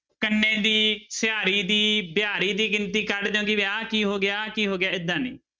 ਕੰਨੇ ਦੀ ਸਿਹਾਰੀ ਦੀ ਬਿਹਾਰੀ ਦੀ ਗਿਣਤੀ ਕੱਢ ਦਓ ਆਹ ਕੀ ਹੋ ਗਿਆ ਆਹ ਕੀ ਹੋ ਗਿਆ ਏਦਾਂ ਨੀ।